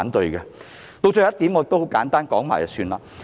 至於最後一點，我會簡單說說。